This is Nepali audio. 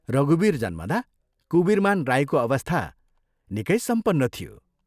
रघुवीर जन्मदा कुबीरमान राईको अवस्था निकै सम्पन्न थियो।